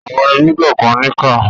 Àwọn ẹbí kànkan níkà.